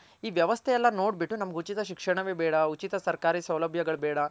ಈ ವ್ಯವಸ್ಥೆ ಎಲ್ಲ ನೋಡ್ ಬಿಟ್ಟು ನಮ್ಗ್ ಉಚಿತ ಶಿಕ್ಷಣ ವೆ ಬೇಡ ಉಚಿತ ಸರ್ಕಾರಿ ಸೌಲಭ್ಯಗಳ್ ಬೇಡ